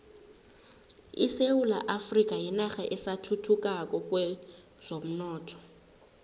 isewula afrika yinarha esathuthukako kwezomnotho